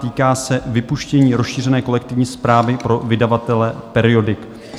Týká se vypuštění rozšířené kolektivní správy pro vydavatele periodik.